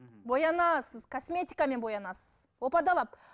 боянасыз косметикамен боянасыз опа далап